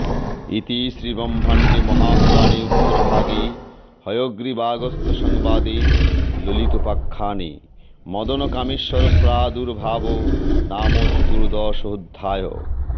ইতি শ্রীব্রহ্মাণ্ডে মহাপুরাণে উত্তরভাগে হয়গ্রীবাগস্ত্যসংবাদে ললিতোপাখ্যানে মদনকামেশ্বরপ্রাদুর্ভাবো নাম চতুর্দশোঽধ্যায়ঃ